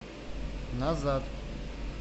назад